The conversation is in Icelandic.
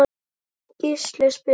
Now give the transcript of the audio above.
Gísli spyr